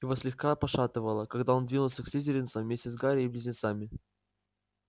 его слегка пошатывало когда он двинулся к слизеринцам вместе с гарри и близнецами